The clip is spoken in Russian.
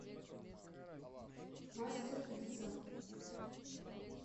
мастер пицца